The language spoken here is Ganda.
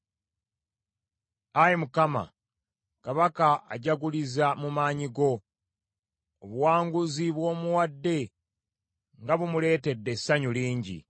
Ayi Mukama , kabaka ajaguliza mu maanyi go. Obuwanguzi bw’omuwadde nga bumuleetedde essanyu lingi!